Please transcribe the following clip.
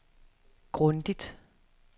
grundigt